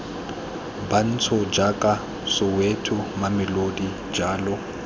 bantsho jaaka soweto mamelodi jalo